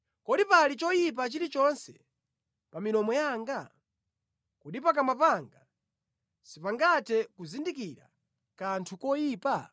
Kodi pali choyipa chilichonse pa milomo yanga? Kodi pakamwa panga sipangathe kuzindikira kanthu koyipa?